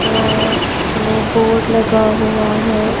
अ वो बोर्ड लगा हुआ है.